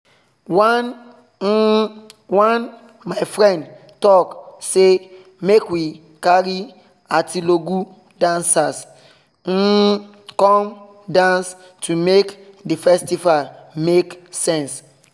one um one my friend talk say make we carry atilogwu dancers um come dance to make the festival make sense